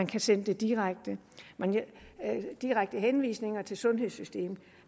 kan sendes direkte henvisninger til sundhedssystemet